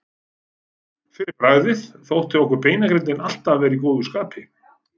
Fyrir bragðið þótti okkur beinagrindin alltaf vera í góðu skapi.